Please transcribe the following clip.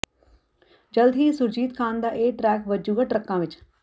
ਜਲਦ ਹੀ ਸੁਰਜੀਤ ਖਾਨ ਦਾ ਇਹ ਟਰੈਕ ਵਜੂਗਾ ਟਰੱਕਾਂ ਵਿਚ